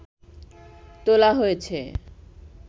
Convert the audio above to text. তোলা হয়েছে